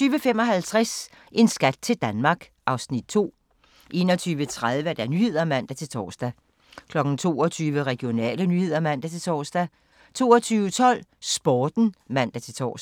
20:55: En skat til Danmark (Afs. 2) 21:30: Nyhederne (man-tor) 22:00: Regionale nyheder (man-tor) 22:12: Sporten (man-tor)